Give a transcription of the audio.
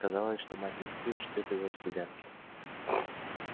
казалось что мать не спит ждёт его с гулянки